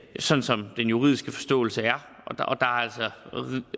sådan som den juridiske forståelse er